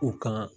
U kan